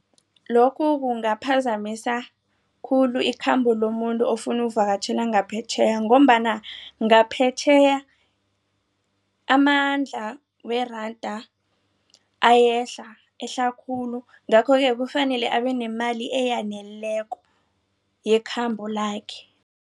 Lokhu kungaphazamisa khulu ikhambo lomuntu ofuna uvakatjhela ngaphetjheya ngombana ngaphetjheya amandla weranda ayehla ehle khulu. Ngakho-ke kufanele abenemali eyaneleko yekhambo lakhe.